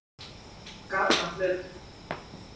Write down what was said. Ekki nokkurn skapaðan hlut.